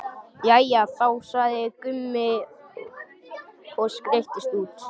Jæja þá, sagði Gunni og skreiddist út.